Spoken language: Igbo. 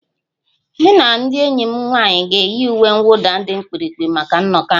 Mụ na ndị enyi m nwanyị ga-eyi uwe mwụda dị mkpirikpi maka nnọkọ ahụ